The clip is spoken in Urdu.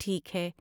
ٹھیک ہے!